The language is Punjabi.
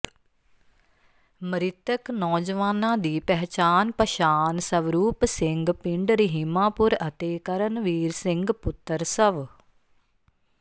ਮ੍ਰਿਤਕ ਨੌਜਵਾਨਾਂ ਦੀ ਪਹਿਚਾਣ ਪਛਾਣ ਸਵਰੂਪ ਸਿੰਘ ਪਿੰਡ ਰਹੀਮਾਪੁਰ ਅਤੇ ਕਰਨਵੀਰ ਸਿੰਘ ਪੁੱਤਰ ਸਵ